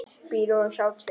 Bíða og sjá til.